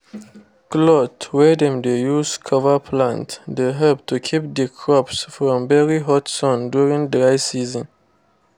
cloth wey dem dey use cover plant dey help to keep the crops from very hot sun during dry season